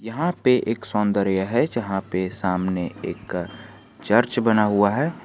यहां पे एक सौंदर्य है जहां पे सामने एक चर्च बना हुआ है।